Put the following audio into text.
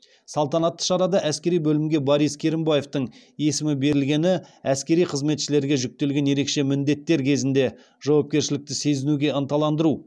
салтанатты шарада әскери бөлімге борис керімбаевтің есімі берілгені әскери қызметшілерге жүктелген ерекше міндеттер кезінде жауапкершілікті сезінуге ынталандыру